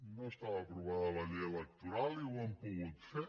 no estava aprovada la llei electoral i ho han pogut fer